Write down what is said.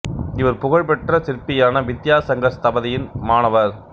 இவர் புகழ் பெற்ற சிற்பியான வித்யா சங்கர் ஸ்தபதியின் மாணவர்